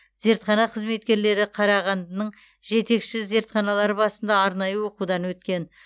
зертхана қызметкерлері қарағандының жетекші зертханалары базасында арнайы оқытудан өткен